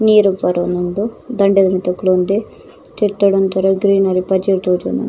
ನೀರುಲ್ ಬರೊಂದುಂಡು ದಂಡೆದ ಮಿತ್ತ್ ಕುಲೊಂದೆ ತಿರ್ತುಡ್ ಒಂತರ ಗ್ರೀನರಿ ಪಜಿರ್ ತೋಜೊಂದುಂಡು.